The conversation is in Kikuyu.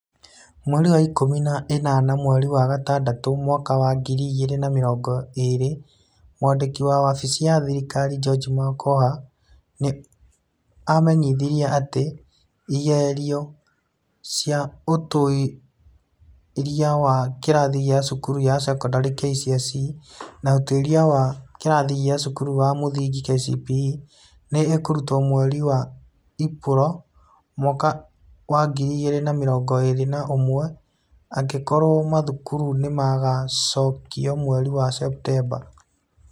Mweri wa ikũmi na ĩnana mweri wa gatandatũ mwaka wa ngiri igĩrĩ na mĩrongo ĩĩrĩ, Mwandiki wa wabici ya thirikari George Magoha nĩ amenyithanirie atĩ igerio cia Ũtuĩria wa kĩrathi kĩa cukuru ya sekondarĩ (KCSE) na Ũtuĩria wa kĩrathi kĩa cukuru ya mũthingi (KCPE) nĩ ikũrutwo mweri wa Ĩpuro mwaka wa ngiri igĩrĩ na mĩrongo ĩĩrĩ na ũmwe, angĩkorwo mathukuru nĩ magaacokio mweri wa Septemba.